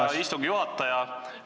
Aitäh, hea istungi juhataja!